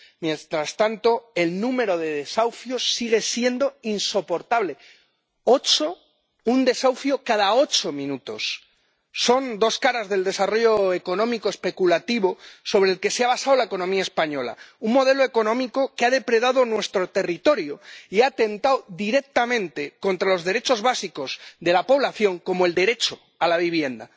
Mientras tanto, el número de desahucios sigue siendo insoportable un desahucio cada ocho minutos. Son dos caras del desarrollo económico especulativo sobre el que se ha basado la economía española, un modelo económico que ha depredado nuestro territorio y ha atentado directamente contra los derechos básicos de la población, como el derecho a la vivienda.